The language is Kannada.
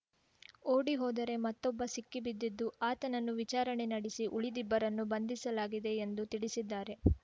ಓಡಿ ಹೋದರೆ ಮತ್ತೊಬ್ಬ ಸಿಕ್ಕಿ ಬಿದ್ದಿದ್ದು ಆತನನ್ನು ವಿಚಾರಣೆ ನಡೆಸಿ ಉಳಿದಿಬ್ಬರನ್ನು ಬಂಧಿಸಲಾಗಿದೆ ಎಂದು ತಿಳಿಸಿದ್ದಾರೆ